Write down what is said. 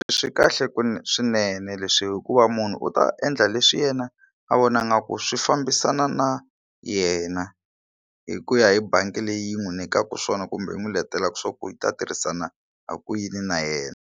Swi kahle ku swinene leswi hikuva munhu u ta endla leswi yena a vona nga ku swi fambisana na yena hi ku ya hi bangi leyi n'wi nyikaka swona kumbe yi n'wi letelaka swa ku yi ta tirhisana ha ku yini na yena.